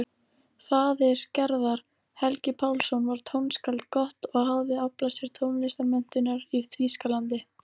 Faðir Gerðar, Helgi Pálsson, var tónskáld gott og hafði aflað sér tónlistarmenntunar í Þýskalandi.